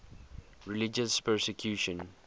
religious persecution